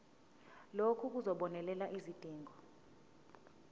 lokhu kuzobonelela izidingo